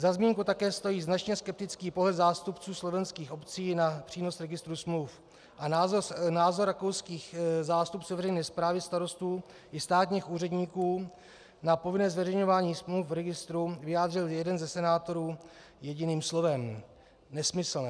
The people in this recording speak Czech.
Za zmínku také stojí značně skeptický pohled zástupců slovenských obcí na přínos registru smluv a názor rakouských zástupců veřejné správy, starostů i státních úředníků na povinné zveřejňování smluv v registru vyjádřil jeden ze senátorů jediným slovem - nesmyslné.